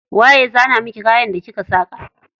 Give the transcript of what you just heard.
Waye ya zana miki kayan da kika saka?